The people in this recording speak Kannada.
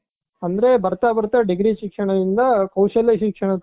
ಅಂದ್ರೆ ಬರ್ತಾ ಬರ್ತಾ degree ಶಿಕ್ಷಣದಿಂದ ಕೌಶಲ್ಯ ಶಿಕ್ಷಣದ ಕಡೆ